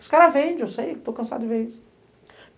Os caras vendem, eu sei, estou cansado de ver isso.